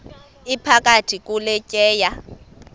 iphakathi kule tyeya